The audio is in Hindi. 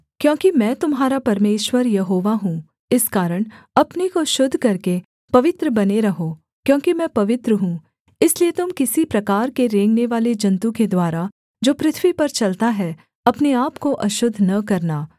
क्योंकि मैं तुम्हारा परमेश्वर यहोवा हूँ इस कारण अपने को शुद्ध करके पवित्र बने रहो क्योंकि मैं पवित्र हूँ इसलिए तुम किसी प्रकार के रेंगनेवाले जन्तु के द्वारा जो पृथ्वी पर चलता है अपने आपको अशुद्ध न करना